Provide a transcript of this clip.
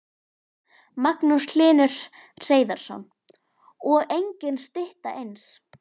Magnús Hlynur Hreiðarsson: Og engin stytta eins?